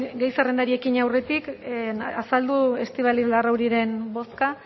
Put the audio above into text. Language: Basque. gai zerrendari ekin aurretik azaldu estibaliz larrauriren bozka